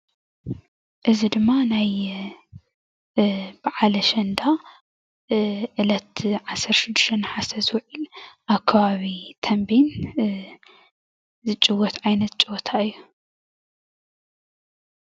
እዚ ድማ ናይ በዓል አሸንዳ ዕለት 16 ነሓሰ ዝውዕል አብ ከባቢ ተምቤን ዝፅወት ዓይነት ፀወታ እዩ፡፡